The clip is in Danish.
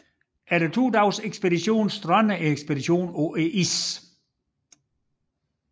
Efter to dages færd strandede ekspeditionen på isen